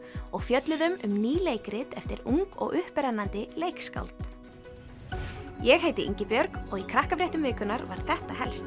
og fjölluðum um ný leikrit eftir ung og upprennandi leikskáld ég heiti Ingibjörg og í Krakkafréttum vikunnar var þetta helst